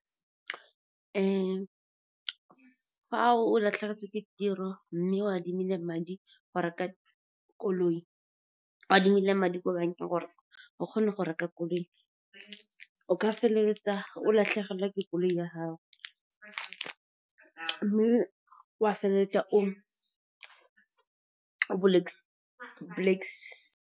Fa o latlhegetswe ke tiro, mme o adimile madi ko bankeng gore o kgone go reka koloi, o ka feleletsa o latlhegelwa ke koloi ya gago, mme wa feleletsa o .